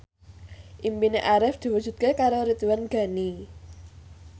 impine Arif diwujudke karo Ridwan Ghani